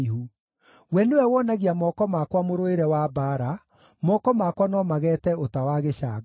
We nĩwe wonagia moko makwa mũrũĩre wa mbaara; moko makwa no mageete ũta wa gĩcango.